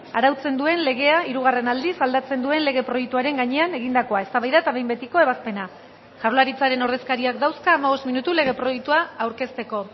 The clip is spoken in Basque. arautzen duen legea hirugarren aldiz aldatzen duen lege proiektuaren gainean egindakoa eztabaida eta behin betiko ebazpena jaurlaritzaren ordezkariak dauzka hamabost minutu lege proiektua aurkezteko